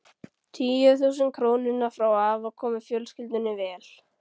Tíu þúsund krónurnar frá afa koma fjölskyldunni vel.